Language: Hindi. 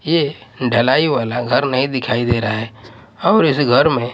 ये ढलाई वाला घर दिखाई नहीं दे रहा है और इस घर में--